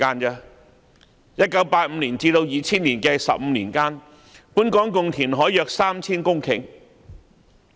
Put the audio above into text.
在1985年至2000年的15年間，本港共填海約 3,000 公頃。